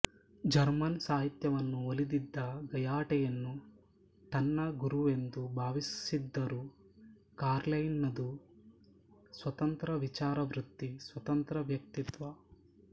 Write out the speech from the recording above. German ಸಾಹಿತ್ಯವನ್ನು ಒಲಿದಿದ್ದ ಗಯಟೆಯನ್ನು ತನ್ನ ಗುರುವೆಂದು ಭಾವಿಸಿದ್ದರೂ ಕಾರ್ಲೈಲನದು ಸ್ವತಂತ್ರ ವಿಚಾರವೃತ್ತಿ ಸ್ವತಂತ್ರ ವ್ಯಕ್ತಿತ್ತ್ವ